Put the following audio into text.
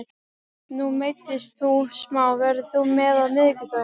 Nú meiddist þú smá, verður þú með á miðvikudag?